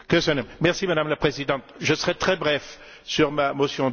Madame la Présidente, je serai très bref sur ma motion d'ordre.